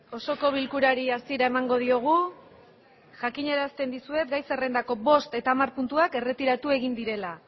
osoko bilkurari hasiera emango diogu jakiñerasten dizuet gai zerrendako bost eta amar putuak erretiratu egin direla